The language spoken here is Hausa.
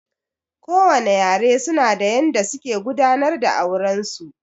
Kowane yare su na da yanda suke gudanar da auren su